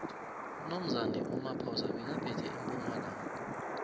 unomzane umaphosa bekaphethe empumalanga